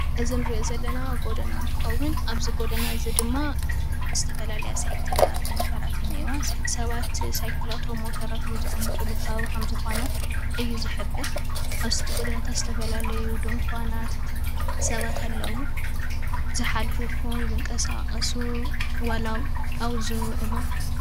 እዚ ንሪኦ ዘለና ጎደና እንትከዉን ኣብዚ ጎደና እዚ ድማ ዝተፈላለያ ሳይክላት ሞተራት እኒአዋ ሰባት ሳይክላቶም ሞተራቶም ዘቅምጥሉ ከባቢ ከምዝኮነ እዩ ዝሕብር ኣብዚ ጎደናታታ ዝተፈላለዩ ድንኳናት ሰባት ኣለዉ ዝሓልፉ ይኩን ዝንቀሳቀሱ ዋላ ኣብኡ ዝዉዕሉ